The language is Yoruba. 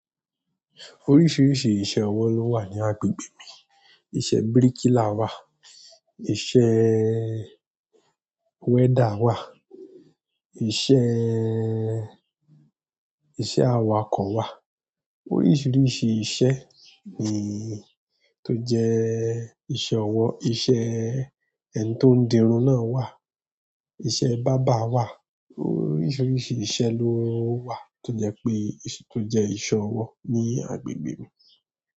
Oríṣiríṣi iṣẹ́ ọwọ́ ló wà ní agbègbè mi. Iṣẹ́ bíríkìlà wà, iṣẹ́ welder wà, iṣẹ́ẹ́, iṣẹ́ awakọ̀ wà. Oríṣiríṣi iṣẹ́ ni tó jẹ́ iṣẹ́ ọwọ́. Iṣẹ́ ẹni tó ń dirun náà wà, iṣẹ́ bárbar wà. Oríṣiríṣi iṣẹ́ ló wà tó jẹ pé, tó jẹ́ iṣẹ́ ọwọ́ ní agbègbè mi.